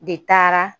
De taara